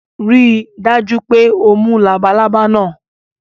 Rii daju pe o mu labalaba naa